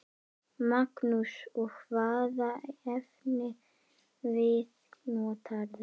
Magnús: Og hvaða efnivið notarðu?